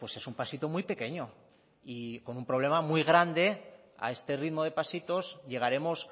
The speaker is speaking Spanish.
es un pasito muy pequeño y con un problema muy grande a este ritmo de pasitos llegaremos